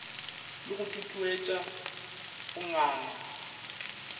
le go tutuetša go nganga